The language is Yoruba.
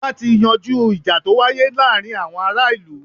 Ọba ti yanjú ìjà to wáyé láàárín àwọn ará ìlú.